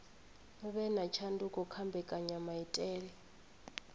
vhe na tshanduko kha mbekanyamaitele